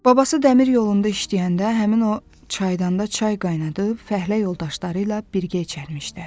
Babası dəmir yolunda işləyəndə həmin o çaydanda çay qaynadıb fəhlə yoldaşları ilə birgə içərləmişlər.